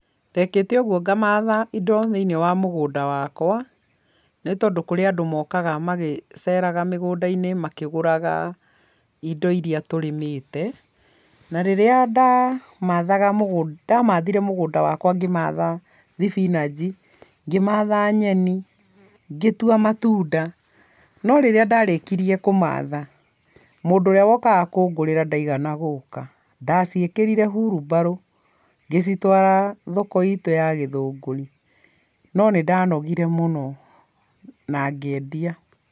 Ndekĩte ũguo ngamatha indo thĩiniĩ wa mũgũnda wakwa, nĩ tondũ kũrĩ andũ mokaga magĩceraga mĩgũnda-inĩ makĩgũraga indo iria tũrĩmĩte. Na rĩrĩa ndamathaga mũgũnda, ndamathire mũgũnda wakwa ngĩmatha thibinanji, ngĩmatha nyeni, ngĩtua matunda, no rĩrĩa ndarĩkirie kũmatha, mũndũ ũrĩa wokaga kũngũrĩra ndaigana gũka. Ndaciĩkĩrire hurumbarũ ngĩcitwara thoko-inĩ itũ ya Gĩthũngũri. No nĩndanogire mũno, nangĩendia.